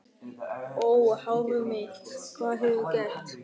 Ó, hárið mitt, hvað hefurðu gert?